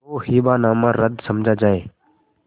तो हिब्बानामा रद्द समझा जाय